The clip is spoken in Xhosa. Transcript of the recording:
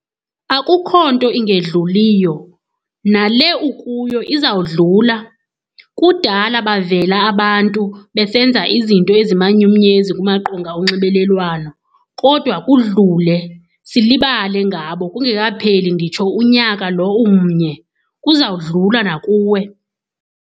Akukho nto ingendluliyo, nale ukuyo izawudlula. Kudala bavela abantu besenza izinto ezimanyumnyezi kumaqonga onxibelelwano kodwa kudlule, silibale ngabo kungekapheli nditsho unyaka lo umnye. Kuzawudlula nakuwe.